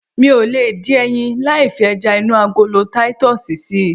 Mi ò lè dín ẹyin láì fi ẹja inú agolo titus si